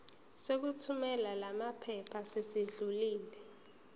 sokuthumela lamaphepha sesidlulile